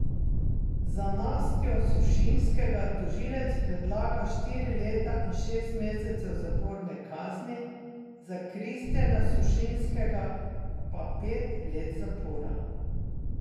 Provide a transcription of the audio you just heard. Za Nastjo Sušinskega tožilec predlaga štiri leta in šest mesecev zaporne kazni, za Kristjana Sušinskega pa pet let zapora.